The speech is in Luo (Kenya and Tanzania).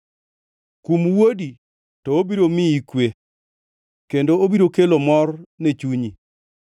Kum wuodi, to obiro miyi kwe; kendo obiro kelo mor ne chunyi.